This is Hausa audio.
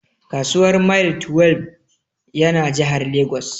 Kasuwar Mile twelbe ya na Jahar Legas